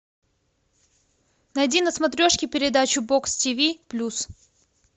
найди на смотрешке передачу бокс ти ви плюс